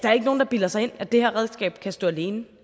er ikke nogen der bilder sig ind at det her redskab kan stå alene